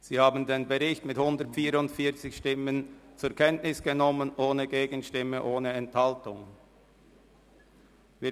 Sie haben den Bericht mit 144 Stimmen ohne Gegenstimme und ohne Enthaltung zur Kenntnis genommen.